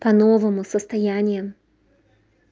по-новому состоянием